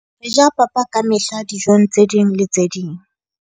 Re ja papa ka mehla dijong tse ding le tse ding.